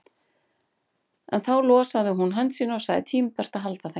En þá losaði hún hönd sína og sagði tímabært að halda heim.